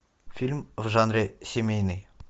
фильм в жанре семейный